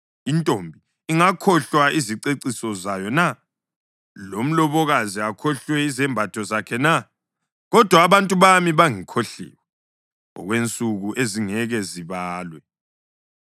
Intombi ingazikhohlwa iziceciso zayo na, lomlobokazi akhohlwe izembatho zakhe na? Kodwa abantu bami bangikhohliwe, okwensuku ezingeke zibalwe.